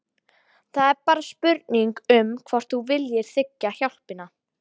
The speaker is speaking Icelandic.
Það er bara spurning um hvort þú viljir þiggja hjálpina.